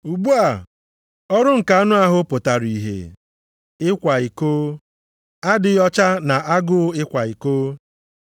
Ugbu a, ọrụ nke anụ ahụ pụtara ihe: ịkwa iko, adịghị ọcha na agụụ ịkwa iko.